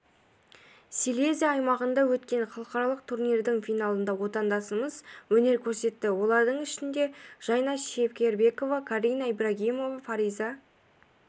силезия аймағында өткен халықаралық турнирдің финалында отандасымыз өнер көрсетті олардың ішінде жайна шекербекова карина ибрагимова фариза